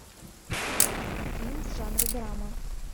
фильм в жанре драма